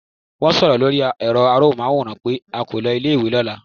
Wón so ó lórí èro amóhùnmáwòràn pé a kò lo ilé ìwé lóla